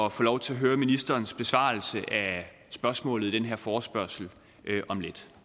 at få lov til at høre ministerens besvarelse af spørgsmålet i den her forespørgsel om lidt